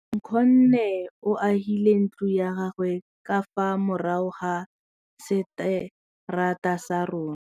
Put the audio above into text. Nkgonne o agile ntlo ya gagwe ka fa morago ga seterata sa rona.